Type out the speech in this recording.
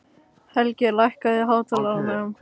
Helgi, lækkaðu í hátalaranum.